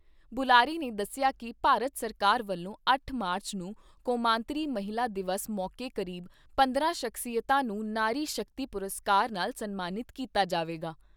ਬੁਲਾਰੇ ਨੇ ਦੱਸਿਆ ਕਿ ਭਾਰਤ ਸਰਕਾਰ ਵੱਲੋਂ ਅੱਠ ਮਾਰਚ ਨੂੰ ਕੌਮਾਂਤਰੀ ਮਹਿਲਾ ਦਿਵਸ ਮੌਕੇ ਕਰੀਬ ਪੰਦਰਾਂ ਸਖਸੀਅਤਾਂ ਨੂੰ ਨਾਰੀ ਸ਼ਕਤੀ ਪੁਰਸਕਾਰ ਨਾਲ ਸਨਮਾਨਿਤ ਕੀਤਾ ਜਾਵੇਗਾ।